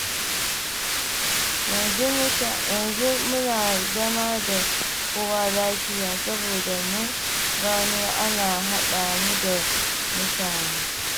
Yanzu muna zama da kowa lafiya, saboda mun gano ana haɗa mu da mutane.